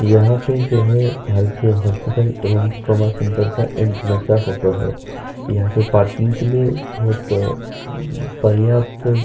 यहाँ पर जो है भारतीय हॉस्पिटल एवं ट्रॉमा सेंटर एन्ट्रन्स का फोटो है। यहाँ पे पार्किंग के लिए बोहोत पर्यात